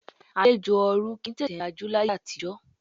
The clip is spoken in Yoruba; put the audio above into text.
Àlejò ọ̀ọ̀run kì í tètè lajú láyé àtijọ́